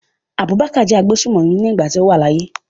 Abubakar jẹ́ agbésùmọ̀mí nígbà tí ó wà láyé.